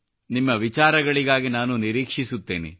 ನಿಮ್ಮ ವಿಚಾರಗಳಿಗಾಗಿ ನಾನು ನಿರೀಕ್ಷಿಸುತ್ತೇನೆ